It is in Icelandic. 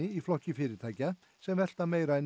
í flokki fyrirtækja sem velta meira en